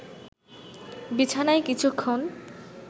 বিছানায় কিছুক্ষণ